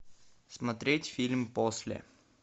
смотреть фильм после